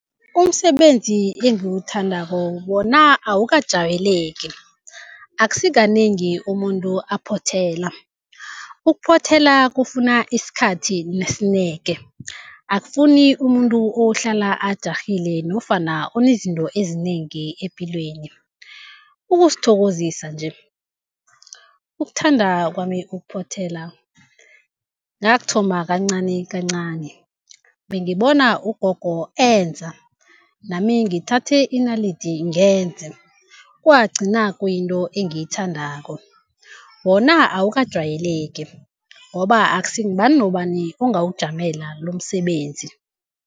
Umsebenzi engiwuthandako wona awukajwayeleki, akusikanengi umuntu aphothela. Ukuphothela kufuna isikhathi nesineke, akufuni umuntu ohlala ajarhile nofana onezinto ezinengi epilweni. Ukuzithokozisa nje, ukuthanda kwami ukuphothela ngakuthoma kancani kancani. Bengibona ugogo enza nami ngithathe inalidi ngenze kwagcina kuyinto engiyithandako. Wona awukajwayeleki ngoba akusi ngubani nobani ongawujamela lomsebenzi.